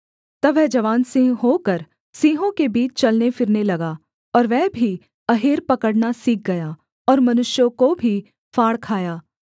तब वह जवान सिंह होकर सिंहों के बीच चलने फिरने लगा और वह भी अहेर पकड़ना सीख गया और मनुष्यों को भी फाड़ खाया